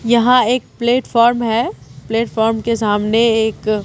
यहां एक प्लैटफ़ॉर्म है प्लैटफ़ॉर्म के सामने एक--